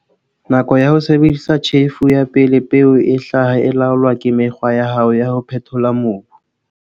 Nako ya ho sebedisa tjhefo ya pele peo e hlaha e laolwa ke mekgwa ya hao ya ho phethola mobu.